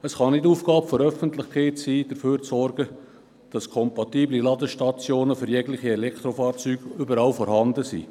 Es kann nicht Aufgabe der Öffentlichkeit sein, dafür zu sorgen, dass kompatible Ladestationen für jegliche Elektrofahrzeuge überall vorhanden sind.